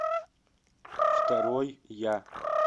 второй я